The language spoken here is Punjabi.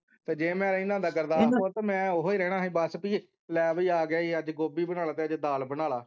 ਤੇ ਜੇ ਮੈਂ ਇਨ੍ਹਾਂ ਦਾ ਹੋਵਾਂ ਤੇ ਮੈਂ ਓਹੋ ਹੀ ਰਹਿਣਾ ਸੀ ਬਸ ਬਈ ਲਾਏ ਬਈ ਆ ਗਿਆ ਈ ਅੱਜ ਗੋਭੀ ਬਣਾ ਲੈ ਤੇ ਅੱਜ ਦਾਲ ਬਣਾ ਲੈ